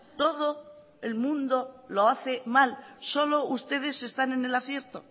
todo el mundo lo hace mal solo ustedes están en el acierto